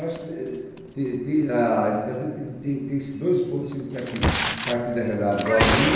Eu acho tem tem a a educação tem tem tem esses dois pontos significativos, partir da realidade do aluno